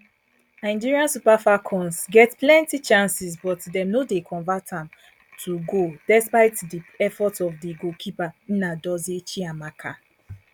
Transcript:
nigeria super falcons get plenti chances but dem no dem no convert am to goal despite di efforts of di goalkeeper nnadozie chiamaka